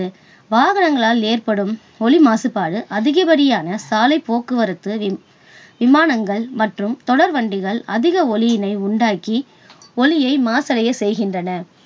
வாகனங்களால் ஏற்படும் ஒலி மாசுபாடு அதிகப்படியான சாலைப்போக்குவரத்து, விமா~ விமானங்கள் மற்றும் தொடர்வண்டிகள் அதிக ஒலியினை உண்டாக்கி ஒலியை மாசடைய செய்கின்றன.